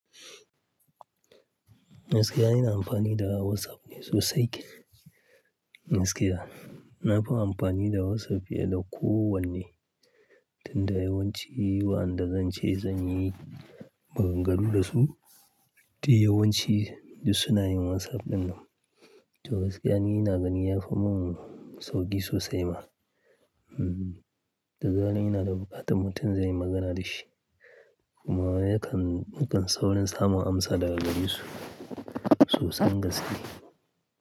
Gaskiya, ina amfani da, WhatsApp, me sosai. Gaskiya, nafi amfani da WhatsApp fiye da kowanne. Tunda yawanci, waɗanda zance zanyi, maganaro da su, duk yawanci, duk suna yin WhatsApp dinnan. To gaskiya ni na gani ya fi mun, sauki sosai ma. Hmmm. Da zaran ina da buƙatan mutum zanyi magana da shi, kuma yakan, yakan saurin samun amsa daga gare su sosai gaskiya.